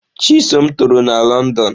Chisom toro na Lọndọn.